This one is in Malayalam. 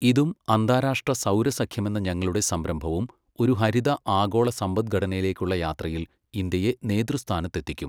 ഇതും അന്താരാഷ്ട്ര സൗരസഖ്യമെന്ന ഞങ്ങളുടെ സംരംഭവും ഒരു ഹരിത ആഗോള സമ്പദ്ഘടനയിലേക്കുള്ള യാത്രയിൽ ഇന്ത്യയെ നേതൃസ്ഥാനത്തെത്തിക്കും.